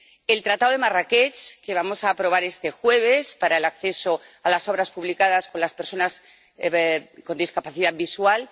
el Tratado de Marrakech, que vamos a aprobar este jueves, para el acceso a las obras publicadas de las personas con discapacidad visual